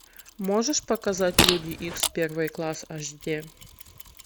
можешь показать люди икс первый класс аш ди